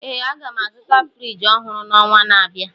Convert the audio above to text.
Ee, aga m azụta Friji ọhụrụ n'ọnwa na-abịa